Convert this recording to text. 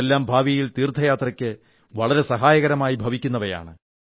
ഇതെല്ലാം ഭാവിയിൽ തീർഥയാത്രയ്ക്ക് വളരെ സഹായകമായി ഭവിക്കുന്നവയാണ്